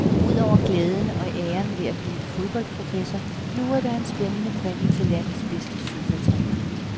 Og udover glæden og æren ved at blive fodboldprofessor, lurer der en spændende præmie til landets bedste sofatræner.